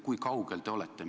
Kui kaugel te olete?